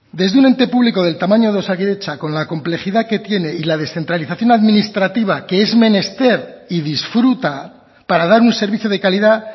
desde un ente público del tamaño de osakidetza con la complejidad que tiene y la descentralización administrativa que es menester y disfruta para dar un servicio de calidad